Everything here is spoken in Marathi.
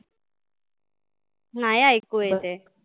नाय ऐकु येत हे.